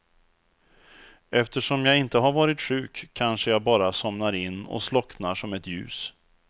Eftersom jag inte har varit sjuk kanske jag bara somnar in och slocknar som ett ljus.